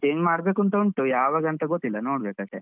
change ಮಾಡ್ಬೇಕು ಅಂತ ಉಂಟು ಯಾವಾಗಂತ ಗೊತ್ತಿಲ್ಲ ನೋಡ್ಬೇಕು ಅಷ್ಟೆ.